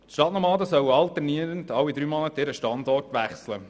Die Stadtnomaden sollen alternierend alle drei Monate ihren Standort wechseln.